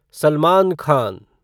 Salman Khan